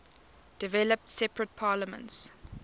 developed separate parliaments